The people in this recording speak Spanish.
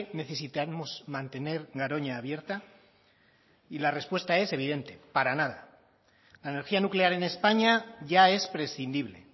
necesitamos mantener garoña abierta y la respuesta es evidente para nada la energía nuclear en españa ya es prescindible